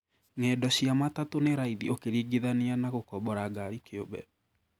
Ng’endo cia matatũ nĩ raithi ũkĩringithania na gũkombora ngari kĩũmbe.